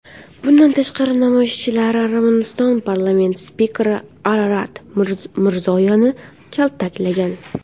Bundan tashqari, namoyishchilar Armaniston parlamenti spikeri Ararat Mirzoyanni kaltaklagan .